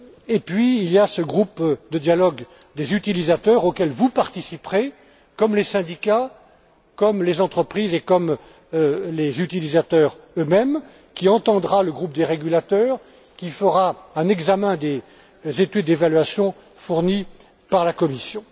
Et puis il y a ce groupe de dialogue des utilisateurs, auquel vous participerez, comme les syndicats, comme les entreprises et comme les utilisateurs eux mêmes, qui entendra le groupe des régulateurs et qui fera un examen des études d'évaluation fournies par la Commission.